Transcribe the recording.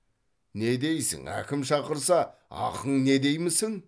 не дейсің әкім шақырса ақың не деймісің